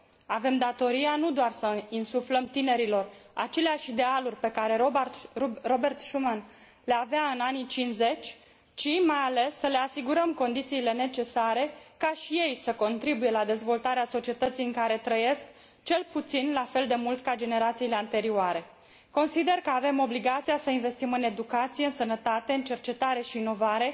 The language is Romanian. Avem datoria nu doar să insuflăm tinerilor aceleași idealuri pe care Robert Schuman le avea în anii '50, ci, mai ales, să le asigurăm condițiile necesare ca și ei să contribuie la dezvoltarea societății în care trăiesc, cel puțin la fel de mult ca generațiile anterioare. Consider că avem obligația să investim în educație, sănătate, în cercetare și inovare